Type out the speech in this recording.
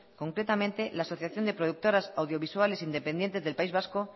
concretamente la asociación de productoras audiovisuales independientes del país vasco